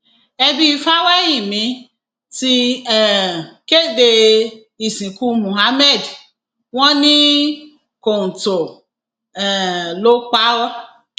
ẹbí fáwẹhìnmí ti um kéde ìsìnkú muhammed wọn ní kọńtò um ló pa á